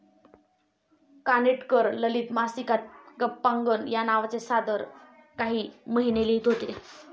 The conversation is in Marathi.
कानिटकर ललित मासिकात गप्पांगण या नावाचे सदर काही महिने लिहीत होते.